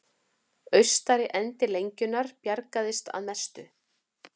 Austari endi lengjunnar bjargaðist að mestu